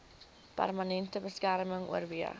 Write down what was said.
permanente beskerming oorweeg